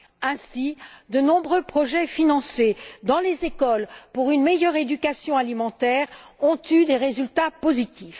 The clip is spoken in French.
Ainsi, de nombreux projets financés dans les écoles pour une meilleure éducation alimentaire ont eu des résultats positifs.